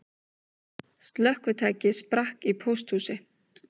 Slökkvitæki sprakk í pósthúsi